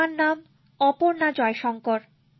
আমার নাম অপর্ণা জয়শঙ্কর